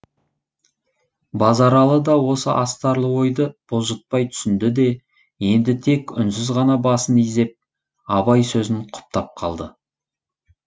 базаралы да осы астарлы ойды бұлжытпай түсінде де енді тек үнсіз ғана басын изеп абай сөзін құптап қалды